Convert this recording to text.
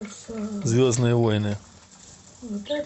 звездные войны